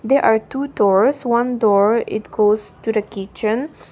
there are two doors one door it goes to the kitchen.